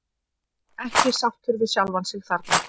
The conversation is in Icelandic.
Ekki sáttur við sjálfan sig þarna.